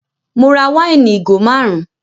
Mo ra wáìnì ìgò márùn